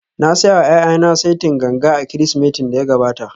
Na saya wa ’ya’yana saitin ganga a Kirsimetin da ya gabata